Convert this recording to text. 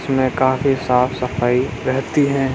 में काफी साफ़ सफाई रहती है।